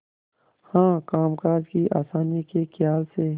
हाँ कामकाज की आसानी के खयाल से